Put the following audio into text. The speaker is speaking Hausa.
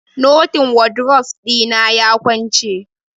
Notin wadrof ɗina ya kwance.